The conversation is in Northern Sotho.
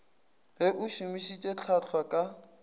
ge o šomišitše hlwahlwa ka